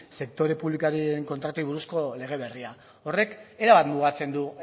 sektore publikoen kontratuei buruzko lege berria horrek erabat mugatzen du